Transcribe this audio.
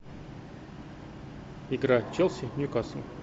игра челси ньюкасл